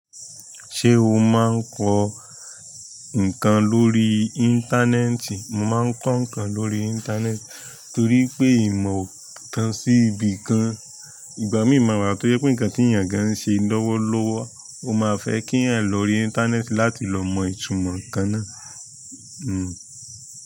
Ṣé o máa ń kọ ǹkan lórí íńtánẹ́ẹ̀tì? Mọ̀ máa ń kọ́ nkàn lórí íńtánẹ́ẹ̀tì torí ìmọ̀ o tan sì ibí kan, ìgbà mìí máa wà tọ́je pé ǹkan tí ẹ̀yàn gàn ńṣe lọ́wọ́lọ́wọ́ o ma fe k'eyan lórí íńtánẹ́ẹ̀tì láti lọ mọ̀ ìtumọ̀ ǹkan náà.